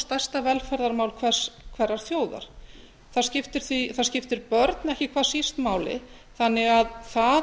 stærsta velferðarmál hverrar þjóðar það skiptir börn ekki hvað síst máli þannig að það